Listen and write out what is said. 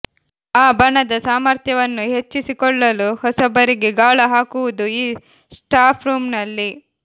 ಆ ಬಣದ ಸಾಮಥ್ರ್ಯವನ್ನು ಹೆಚ್ಚಿಸಿಕೊಳ್ಳ್ಳಲು ಹೊಸಬರಿಗೆ ಗಾಳ ಹಾಕುವುದು ಈ ಸ್ಟಾಫ್ರೂಂನಲ್ಲಿ